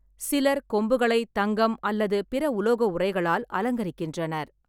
சிலர் கொம்புகளை தங்கம் அல்லது பிற உலோக உறைகளால் அலங்கரிக்கின்றனர்.